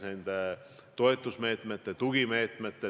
Noh, õppetunnid on ju olnud.